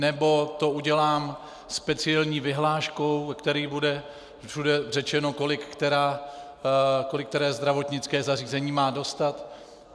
Nebo to udělám speciální vyhláškou, ve které bude všude řečeno, kolik které zdravotnické zařízení má dostat?